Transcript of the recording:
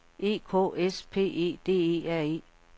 E K S P E D E R E